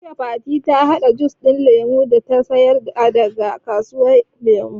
Jiya Fatima ta haɗa jus da Lemun da ta saya daga kasuwar Ƴan Lemu